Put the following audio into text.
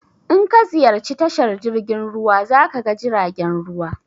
In ka ziyarci tashar jirgin ruwa za ka ga jiragen ruwa.